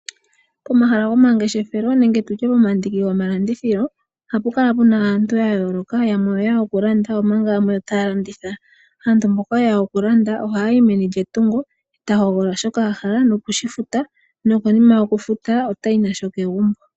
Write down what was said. Pomahala gomangeshefelo nenge tutye pomandiki gomalandithilo ohapu kala puna aantu ya yooloka yamwe oyeya okulanda omanga yamwe otaya landitha. Aantu mboka yeya okulanda ohaya yi meni lyetungo etahogolola shoka a hala noku shifuta, nokonima yokushifuta otayi nasho kegumbo.